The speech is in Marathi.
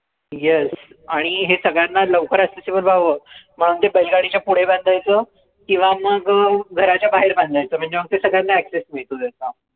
yes आणि हे सगळ्यांना लवकर वर जावं मग ते च्या पुढे बांधायचं किंव्हा मग घराच्या बाहेर बांधायचं म्हणजे मग ते सगळ्यांना access मिळतो त्याचा